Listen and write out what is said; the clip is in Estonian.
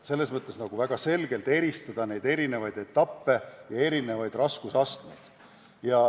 Selles mõttes saab väga selgelt eristada neid erinevaid etappe ja erinevaid raskusastmeid.